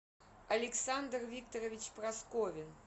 александр викторович просковин